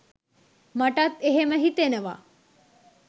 මටත් එහෙම හිතෙනවා